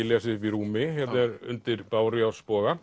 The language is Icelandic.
lesið uppi í rúmi hérna er undir